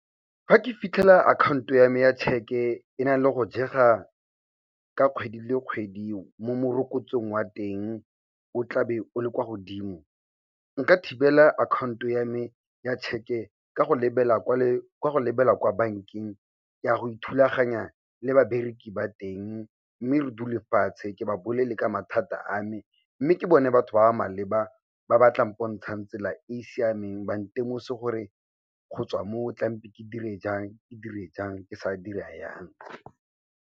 Fa ke fitlhela akhaonto ya me ya tšheke e nale go jega ka kgwedi le kgwedi mo morokotsong wa teng o tlabe o le kwa godimo, nka thibela akhaonto ya me ya tšheke ka go lebela kwa bankeng ke a go ithulaganya le babereki ba teng mme re dule fatshe ke ba bolelle ka mathata a me, mme ke bone batho ba ba maleba ba ba tla mpontshang tsela e e siameng, ba ntemose gore go tswa moo tlampe ke dire jang, ke sa dira yang.